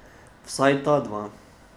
Vsaj ta dva.